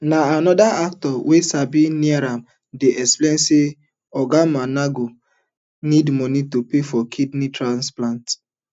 na anoda actor wey siddon near am dey explain say oga muonagor need money to pay for kidney transplant